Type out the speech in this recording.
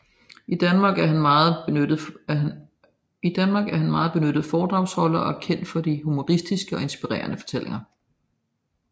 I Danmark er han en meget benyttet foredragsholder og er kendt for de humoristiske og inspirerende fortællinger